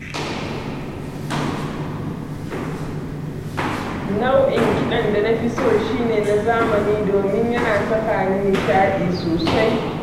Nau'in kiɗan da na fi so shi ne na zamani domin yana sakani nishaɗi sosai